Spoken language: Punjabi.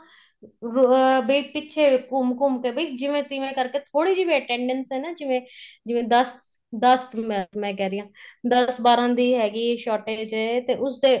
ਅਹ ਵੇਖ ਪਿੱਛੇ ਘੁੰਮ ਘੁੰਮ ਕੇ ਜਿਵੇਂ ਤਿਵੇਂ ਕਰਕੇ ਥੋੜੀ ਜੀ ਵੀ attendance ਏ ਨਾ ਜਿਵੇਂ ਜਿਵੇਂ ਦੱਸ ਦੱਸ ਮੈਂ ਕਹਿ ਰਹੀ ਆ ਦੱਸ ਬਾਰਾਂ ਦੀ ਹੈਗੀ shortage ਜੇ ਤੇ ਉਸਦੇ ਉਹ